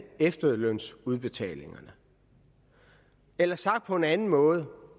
efterlønsudbetalingerne eller sagt på en anden måde